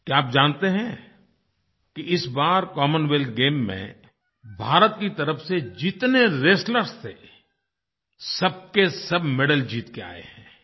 क्या आप जानते हैं कि इस बार कॉमनवेल्थ गेम्स में भारत की तरफ़ से जितने रेस्टलर्स थे सब के सब मेडल जीत के आये हैं